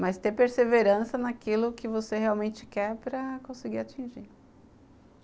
mas ter perseverança naquilo que você realmente quer para conseguir atingir.